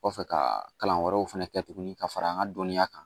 Kɔfɛ ka kalan wɛrɛw fɛnɛ kɛ tuguni ka fara an ka dɔnniya kan